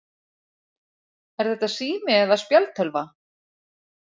Er þetta sími eða spjaldtölva?